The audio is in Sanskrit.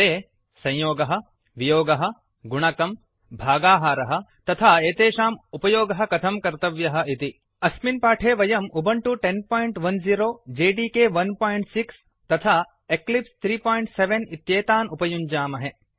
ते - संयोगः वियोगः गुणकम् भागाहारः तथा एतेषाम् उपयोगः कथं कर्तव्यः इति अस्मिन् पाठे वयम् उबुण्टु 1010एकादश दश जेडिके 16 एकम् षट् तथा एक्लिप्स् 37 त्रयम् सप्त इत्येतान् उपयुञ्जामहे